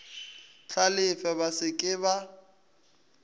hlalefe ba se ke ba